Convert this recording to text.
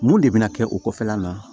Mun de bɛna kɛ o kɔfɛla la